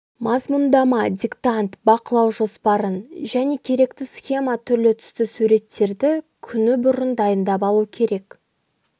мазмұндама диктант бақылау жоспарын және керекті схема түрлі түсті суреттерді күні бұрын дайындап алу керек